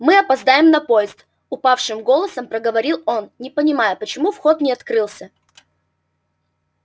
мы опоздаем на поезд упавшим голосом проговорил он не понимаю почему вход не открылся